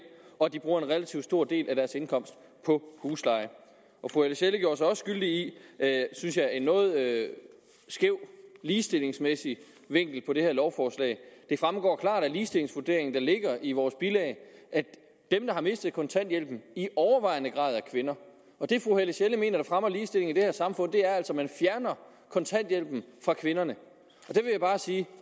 og at de bruger en relativt stor del af deres indkomst på husleje fru helle sjelle gjorde sig også skyldig i synes jeg en noget skæv ligestillingsmæssig vinkel på det her lovforslag det fremgår klart af ligestillingsvurderingen der ligger i vores bilag at dem der har mistet kontanthjælpen i overvejende grad er kvinder det fru helle sjelle mener der fremmer ligestillingen i det her samfund er altså at man fjerner kontanthjælpen fra kvinderne der vil jeg bare sige at